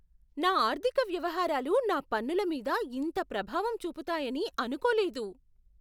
నా ఆర్థిక వ్యవహారాలు నా పన్నుల మీద ఇంత ప్రభావం చూపుతాయని అనుకోలేదు.